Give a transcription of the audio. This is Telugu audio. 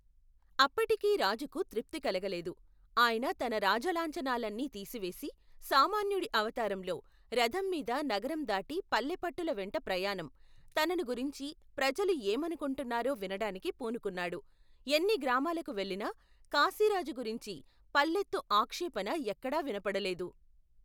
అప్పటికీ రాజుకు తృప్తి కలగలేదు, ఆయన తన రాజలాంఛనాలన్నీ తీసివేసి సామాన్యుడి అవతారంలో, రధంమీద నగరం దాటి పల్లెపట్టుల వెంట ప్రయాణం, తనను గురించి, ప్రజలు ఏమను కుంటున్నారో వినటానికి పూనుకున్నాడు ఎన్ని గ్రామాలకు వెళ్లినా, కాశీరాజు గురించి పల్లెత్తు ఆక్షేపణ ఎక్కడా వినపడలేదు.